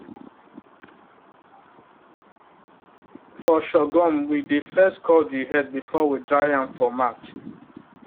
for sorghum we dey first cut the head before we dry am for mat